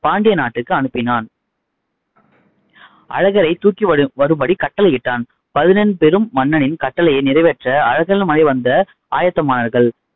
பாண்டிய நாட்டுக்கு அனுப்பினான் அழகரை தூக்கி வரும்படி கட்டளையிட்டான். பதினென் பெரும் மன்னனின் கட்டளையை நிறைவேற்ற அழகர்மலை வந்த ஆயத்தமானார்கள்.